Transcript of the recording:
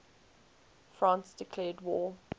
france declared war